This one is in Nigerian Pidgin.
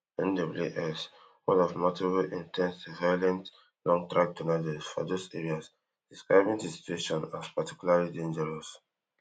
NWS one of multiple in ten se violent longtrack tornadoes for those areas describing di situation as particularly dangerous